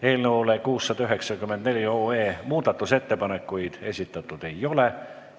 Eelnõu 694 kohta muudatusettepanekuid esitatud ei ole.